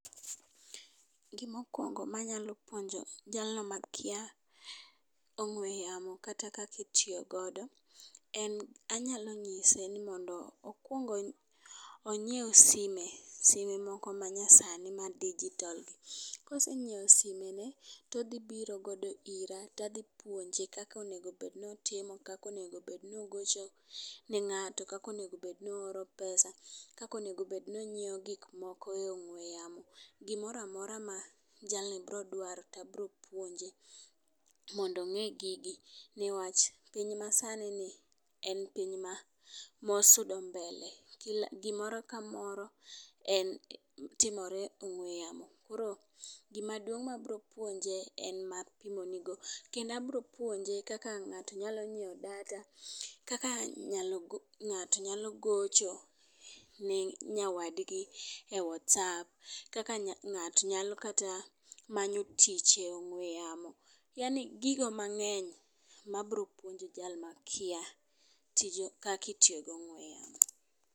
Gimo kwongo manyalo puonjo jalno makia ong'we yamo kata kakitiyo godo en, anyalo nyise ni mondo okwong onyiewu sime, sime moko manya sani ma digital gi. Kosenyiewo sime ni todhi biro ira tadhi puonj ekaka onego bed ni otimo kaka onego bed ni ogocho ne ng'ato, kaka onego bed no oro pesa, kaka onego bed ni onyiew gik moko e ong'we yamo gimoramora ma jalni bro dwaro tabro puonje mondo ong'e gigi , newach piny masani ni en opiny ma osudo mbele. Kila gimoro kamoro en timore e ong'we yamo. Koro gimaduong' mabro puonje en ma apimoni go kendo abro puonje kaka ng'ato nya ng'iewo data kaka ngato nya gocho ne nyawadgi e whatsupp, kaka ng'ato nya kata manyo tich e ong'we yamo, yaani gigo mangeny mabro puonjo jalno makia kaki tiyo gong'we yamo.